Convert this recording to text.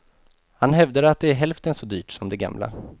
Han hävdar att det är hälften så dyrt som det gamla.